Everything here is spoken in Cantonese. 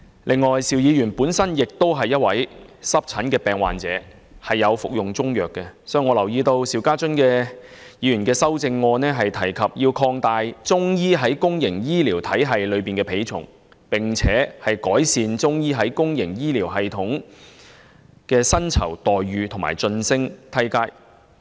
此外，邵議員本身亦是一位濕疹病患者，並且有服用中藥，所以我留意到，他在修正案中建議"擴大中醫在公營醫療體系的比重，並改善中醫在公營醫療體系的薪酬待遇及晉升階梯"。